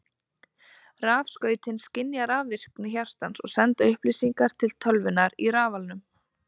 Rafskautin skynja rafvirkni hjartans og senda upplýsingar til tölvunnar í rafalnum.